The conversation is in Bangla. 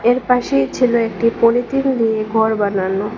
এ পাশেই ছিল একটি পলিথিন দিয়ে ঘর বানানো।